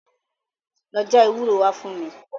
Lọ já ewúro wá fún mi.